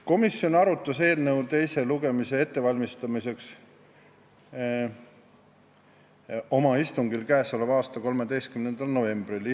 Komisjon arutas eelnõu teise lugemise ettevalmistamiseks oma k.a 13. novembri istungil.